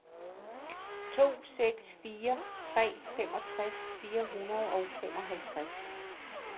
to seks fire tre femogtres fire hundrede og femoghalvtreds